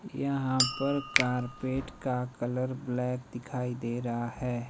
यहां पर कारपेट का कलर ब्लैक दिखाई दे रहा है।